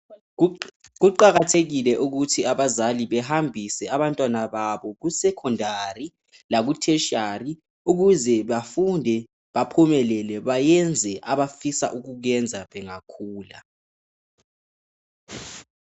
Kuqakathekile ukuthi abazali behambise abantwana babo kusecondary laku tertiary ukuze bafunde baphumelele bayenze abafisa ukukwenza bengakhula